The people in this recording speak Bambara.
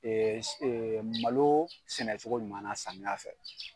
Malo sɛnɛcogo ɲuman samiya fɛ.